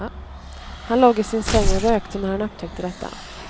Han låg i sin säng och rökte när han upptäckte detta.